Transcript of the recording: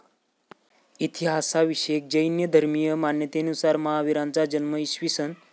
इतिहासाविषयक जैन धर्मीय मान्यतेनुसार महावीरांचा जन्म इ.